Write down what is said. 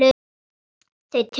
Þau töluðu saman.